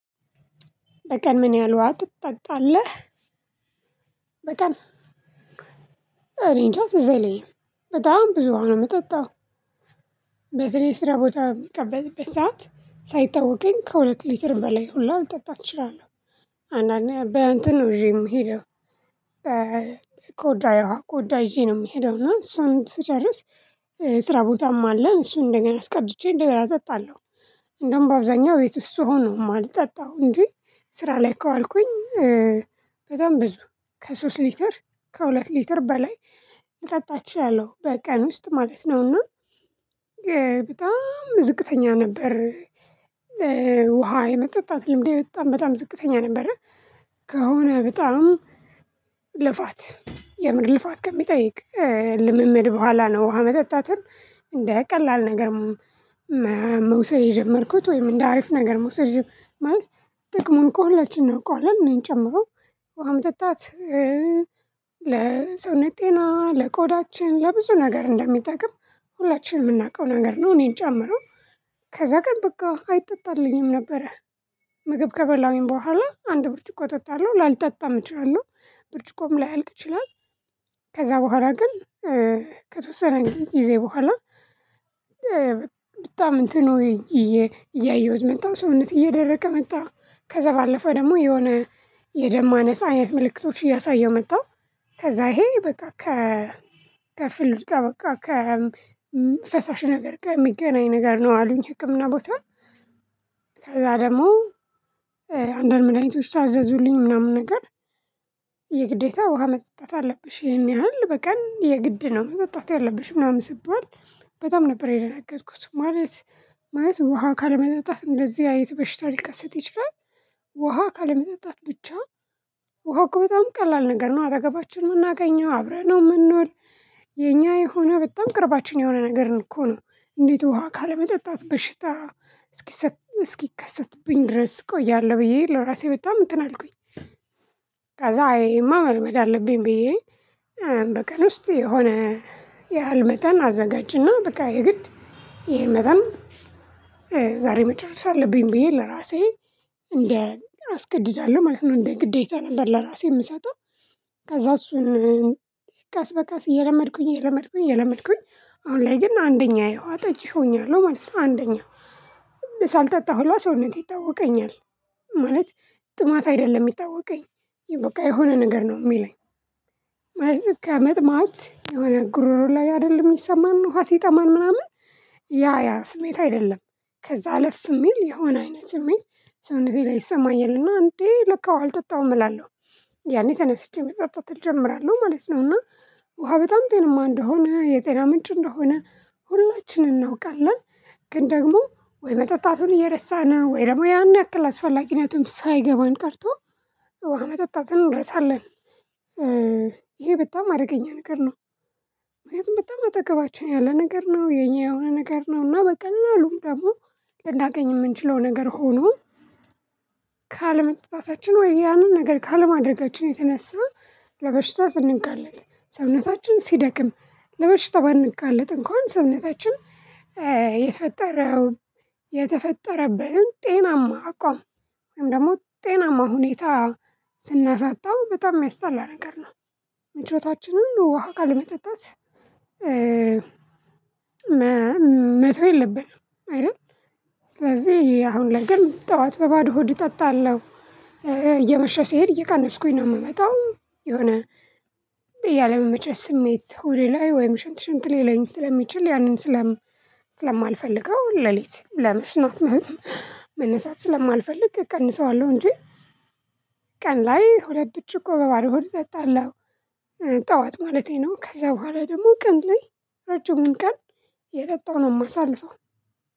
በቀን ምን ያህል ውሃ ትጠጣለህ? በቀን እኔ እንጃ ትዝ አይለኝም በጣም ብዙ ውሃ ነው የምጠጣው። በተለይ ስራ ቦታ በምቀመጥበት ሰዓት ሳይታወቀኝ ከሁለት ሊትር በላይ ሁላ አልጠጣ እችላለሁ። አንዳንዴ በእንትን ነው ይዤ ምሄደው። ኮዳዬ ውሃ ኮዳ ይዤ ነው የምሄደው እና እሱን ስጨርስ ስራ ቦታም አለ እሱን እንደገና አስቀድቼ እንደገና እጠጣለሁ። እንደውም በአብዛኛው ቤት ውስጥ ስሆን ነው የማልጣው እንጂ ስራ ላይ ከዋልኩኝ። በጣም ብዙ ከሶስት ሊትር ከሁለት ሊትር በላይ ልጠጣ እችላለሁ በቀን ውስጥ ማለት ነውና በጣም ዝቅተኛ ነበር። ውሃ የመጠጣት ልምዴ በጣም በጣም ዝቅተኛ ነበረ። ከሆነ በጣም ልፋት የሆነ ልፋት ከሚጠይቅ ልምምድ በኋላ ነው ውሃ መጠጣትን እንደ ቀላል ነገር። መውሰድ የጀመርኩት ወይም እንደ አሪፍ ነገር መውሰድ ማለት ጥቅሙን እኮ ሁላችንም እናውቀዋለን እኔን ጨምሮ። ውሃ መጣት ለሰውነት ጤና ለቆዳችን ለብዙ ነገር እንደሚጠቅም ሁላችንም የምናውቀው ነገር ነው እኔን ጨምሮ። ከዛ ግን በቃ አይጠጣልኝም ነበረ። ምግብ ከበላሁኝ በኋላ አንድ ብርጭቆ አጠጣለሁ ላልጠጣም እችላለሁ ብርጭቆም ላይ ያልቅ ይችላል። ከዛ በኋላ ግን ከተወሰነ ጊዜ በኋላ በጣም እንትኑ እያየሁት መጣሁ ሰውነቴ እየደረቀ መጣ። ከዛ ባለፈ ደግሞ የሆነ የደም ማነስ አይነት ምልክቶች እያሳየሁ መጣሁ። ከዛ ይሄ በቃ ከ ከፍሉድ ጋር በቃ ከ ፈሳሽ ነገር ጋር የሚገናኝ ነገር ነው አሉኝ ህክምና ቦታ። ከዛ ደግሞ አንዳንድ መዳኒቶችን አዘዙልኝ ምናምን ነገር። የግዴታ ውሃ መጠጣት አለብሽ ይሄን ያህል በቀን የግድ ነው መጠጣት ያለብሽ ምናምን ስባል በጣም ነበር የደነገጥኩት ማለት ማለት ውሃ ካለመጠጣት እንደዚህ አይነት በሽታ ሊከሰት ይችላል። ውሃ ካለመጠጣት ብቻ ውሃ በጣም ቀላል ነገር ነው። አጠገባችን ነው የምናገኘው አብረን ነው የምንወል የኛ የሆነ በጣም ቅርባችን የሆነ ነገር እኮ ነው። እንዴት ውሃ ካለመጠጣት በሽታ እስኪ እስኪ ከሰትብኝ ድረስ እቆያለሁ ብዬ ለራሴ በጣም እንትን አልኩኝ። ከዛ አይ ይሄማ መልመድ አለብኝ ብዬ በቀን ውስጥ የሆነ ያህል መጠን አዘጋጅና በቃ የግድ ይሄን መጠን ዛሬ መጨረስ አለብኝ ብዬ ለራሴ እንደ አስገድዳለሁ ማለት ነው እንደ ግዴታ ነበር ለራሴ የምሰጠው። ከዛ እሱን ቀስ በቃስ እየለመድኩኝ እየለመድኩኝ እየለመድኩኝ አሁን ላይ ግን አንደኛ የውሃ ጠጪ ሆኛለሁ ማለት ነው። አንደኛ ሳልጠጣ ሁላ ሰውነቴ ይታወቀኛል። ማለት ጥማት አይደለም የሚታወቀኝ በቃ የሆነ ነገር ነው የሚለኝ። ማለት መጥማት የሆነ ጉሮሮ ላይ አይደለም የሚሰማን ውሃ ሲጠማን ምናምን ያ ያ ስሜት አይደለም ከዛ አለፍ የሚል የሆነ አይነት ስሜት ሰውነቴ ላይ ይሰማኛልና እንዴ ለካ ውሃ አልጠጣሁም እላለሁ። ያኔ ተነስቼ መጸጸት እጀምራለሁ ማለት ነው እና ውሃ በጣም ጤንማ እንደሆነ የጤና ምንጭ እንደሆነ ሁላችንም እናውቃለን። ግን ደግሞ ወይ መጠጣቱን እየረሳን ወይ ደግሞ ያን ያክል አስፈላጊነትም ሳይገባን ቀርቶ ውሃ መጠጣቱን እንረሳለን። ይሄ በጣም አደገኛ ነገር ነው። ምክንያቱም በጣም አጠገባችን ያለ ነገር ነው የኛ የሆነ ነገር ነውና በቀላሉም ደግሞ ልናገኝ የምንችለው ነገር ሆኖ። ካለመጠጣታችን ወይ ያንን ነገር ካለማድረጋችን የተነሳ ለበሽታ ስንጋለጥ ሰውነታችን ሲደክም ለበሽታ ባንጋለጥ እንኳን ሰውነታችን የተፈጠረውን የተፈጠረበትን ጤናማ አቋም ወይም ደግሞ ጤናማ ሁኔታ ስናሳጣው በጣም የሚያስጠላ ነገር ነው። ምቾታችንን ውሃ ካለመጠጣት መተው የለብንም አይደል? ስለዚህ አሁን ላይ ግን ጠዋት በባዶ ሆድ እጠጣለሁ። ሲሄድ እየቀነስኩኝ ነው የምመጣው። የሆነ ያለመመቸት ስሜት ሆዴ ላይ ወይም ሽንት ሽንት ሊለኝ ስለሚችል ያንን ስለማልፈልገው ሌሊት ለመሽናት መነሳት ስለማልፈልግ እቀንሰዋለሁ እንጂ። ቀን ላይ ሁለት ብርጭቆ በባዶ ሆድ እጠጣለሁ። ጠዋት ማለቴ ነው ከዛ በኋላ ደግሞ ቀን ላይ እረጅሙን ቀን እየጠጣው ነው የማሳልፈው።